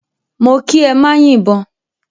Mó kí ẹ má yìbọn!